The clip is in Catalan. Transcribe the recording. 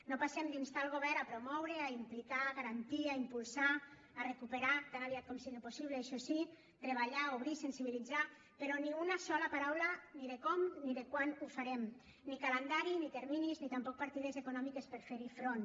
no passem d’instar el govern a promoure a implicar a garantir a impulsar a recuperar tan aviat com sigui possible això sí treballar obrir sensibilitzar però ni una sola paraula ni de com ni de quan ho farem ni calendari ni terminis ni tampoc partides econòmiques per fer hi front